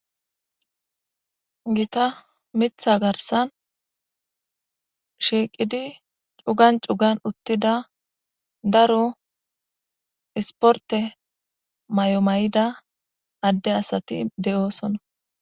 Gita mitha garsan shiiqidi cugan cugan uttida daro isporte may7omayida adde asati de'oosona.